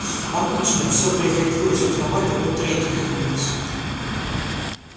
обычно всё приходилось узнавать от третьих лиц